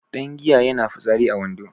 Dangiya yana fitsari a wando